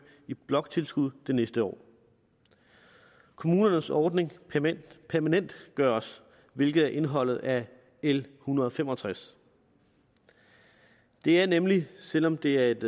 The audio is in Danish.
i bloktilskuddet det næste år kommunernes ordning permanentgøres hvilket er indholdet af l en hundrede og fem og tres det er nemlig selv om det er et